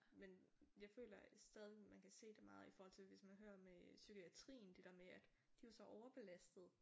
Men jeg føler stadig man kan se det meget i forhold til hvis man hører med psykiatrien det der med at de er jo så overbelastede